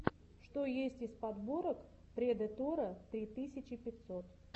что есть из подборок предэтора три тысячи пятьсот